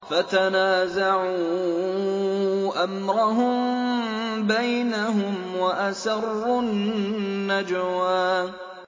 فَتَنَازَعُوا أَمْرَهُم بَيْنَهُمْ وَأَسَرُّوا النَّجْوَىٰ